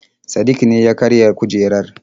Sadik ne ya karya kujerar.